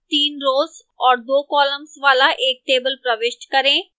3 rows और 2 columns वाला एक table प्रविष्ट करें